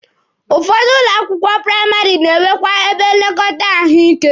Ụfọdụ ụlọ akwụkwọ praịmarị na-enwekwa ebe nlekọta ahụike.